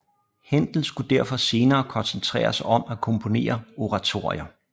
Händel skulle derfor senere koncentrere sig om at komponere oratorier